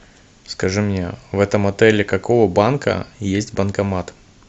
скажи мне в этом отеле какого банка есть банкомат